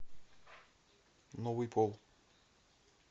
новый пол